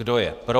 Kdo je pro?